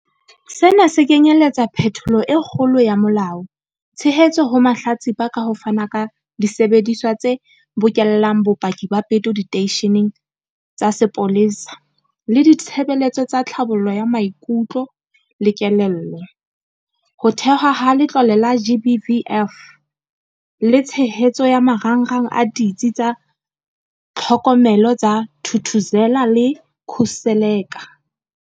Sena se kenyeletsa phetholo e kgolo ya molao, tshehetso ho mahlatsipa ka ho fana ka disebediswa tse bokellang bopaki ba peto diteisheneng tsa sepolesa le ditshebeletso tsa tlhabollo ya maikutlo le kelello, ho thehwa ha Letlole la GBVF le tshehetso ya marangrang a Ditsi tsa Tlhokomelo tsa Thuthuzela le tsa Khuseleka.